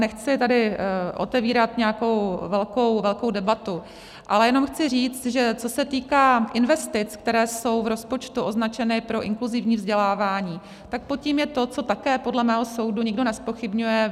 Nechci tady otevírat nějakou velkou debatu, ale jenom chci říct, že co se týká investic, které jsou v rozpočtu označeny pro inkluzivní vzdělávání, tak pod tím je to, co také podle mého soudu nikdo nezpochybňuje.